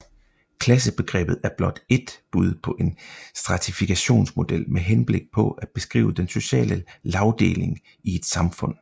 Klassebegrebet er blot ét bud på en stratifikationsmodel med henblik på at beskrive den sociale lagdeling i et samfund